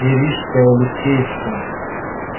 и рижская и алексеевская